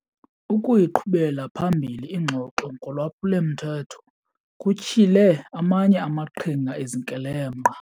Ukuyiqhubela phambili ingxoxo ngolwaphulo-mthetho kutyhile amanye amaqhinga ezikrelemnqa.